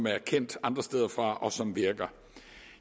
er kendt andre steder fra og som virker